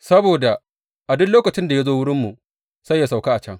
Saboda a duk lokacin da ya zo wurinmu, sai yă sauka a can.